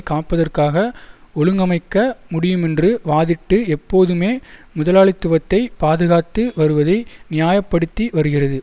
காப்பதற்காக ஒழுங்கமைக்க முடியுமென்று வாதிட்டு எப்போதுமே முதலாளித்துவத்தை பாதுகாத்து வருவதை நியாய படுத்தி வருகிறது